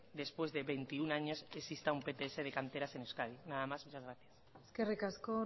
después de veintiuno años existe un pts de canteras en euskadi nada más muchas gracias eskerrik asko